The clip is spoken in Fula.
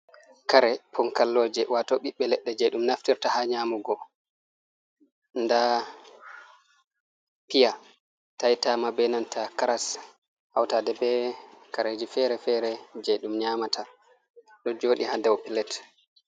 Kare ponkalloje wato ɓiɓɓe leɗɗe je ɗum naftirta ha nyamugo, nda pia taitama benanta kras, hautaɗe be kareji fere-fere je ɗum nyamata, ɗo joɗi ha dau pilat.